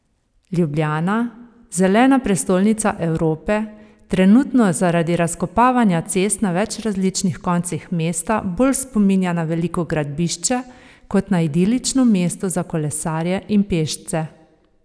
Ljubljana, zelena prestolnica Evrope, trenutno zaradi razkopavanja cest na več različnih koncih mesta bolj spominja na veliko gradbišče kot na idilično mesto za kolesarje in pešce.